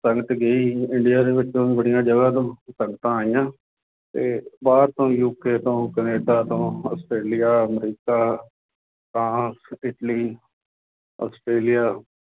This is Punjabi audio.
ਸੰਗਤ ਗਈ ਇੰਡੀਆ ਦੇ ਵਿੱਚੋਂ ਬੜੀਆਂ ਜਗ੍ਹਾ ਤੋਂ ਸੰਗਤਾਂ ਆਈਆਂ ਤੇ ਬਾਹਰ ਤੋਂ UK ਤੋਂ ਕੈਨੇਡਾ ਤੋਂ Australia America, France, Italy, Australia,